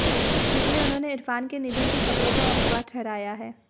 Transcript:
जिसमें उन्होंने इरफान के निधन की खबरों को अफवाह ठहराया है